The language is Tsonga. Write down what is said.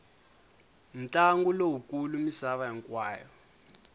ntlangu lowu kulu misava hinkwayo